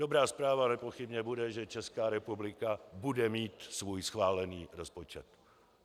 Dobrá zpráva nepochybně bude, že Česká republika bude mít svůj schválený rozpočet.